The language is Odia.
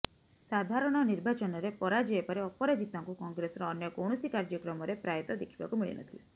ସାଧାରଣ ନିର୍ବାଚନରେ ପରାଜୟ ପରେ ଅପରାଜିତାଙ୍କୁ କଂଗ୍ରେସର ଅନ୍ୟ କୌଣସି କାର୍ୟ୍ୟକ୍ରମରେ ପ୍ରାୟତଃ ଦେଖିବାକୁ ମିଳିନଥିଲା